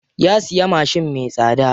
Ya siya mashin me tsada.